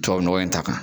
Tubabu nɔgɔ in ta kan